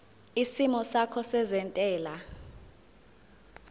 isimo sakho sezentela